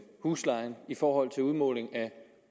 huslejen i forhold til udmåling af